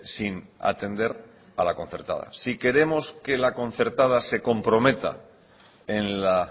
sin atender a la concertada si queremos que la concertada se comprometa en la